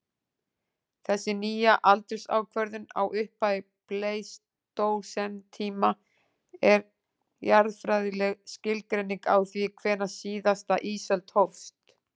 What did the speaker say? Þessi nýja aldursákvörðun á upphafi pleistósentíma er jarðfræðileg skilgreining á því hvenær síðasta ísöld hófst.